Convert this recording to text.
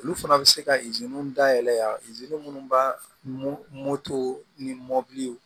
Olu fana bɛ se ka dayɛlɛ minnu bamuso ni mɔbili